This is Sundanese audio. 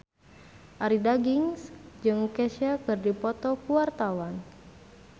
Arie Daginks jeung Kesha keur dipoto ku wartawan